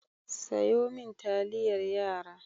Sayo min taliyar yara.